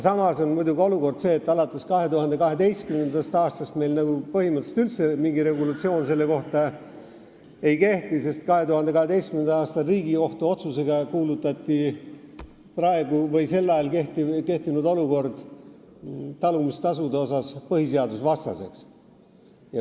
Samas on olukord muidugi selline, et alates 2012. aastast meil selle kohta põhimõtteliselt mingit kehtivat regulatsiooni ei ole, sest 2012. aasta Riigikohtu otsusega kuulutati praegu või sel ajal kehtinud olukord talumistasude koha pealt põhiseadusvastaseks.